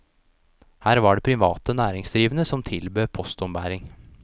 Her var det private næringsdrivende som tilbød postombæring.